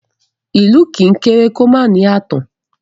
Ilù kì í kere kì o ma ni aatan